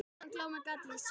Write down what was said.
Áðan glámu gat ég séð.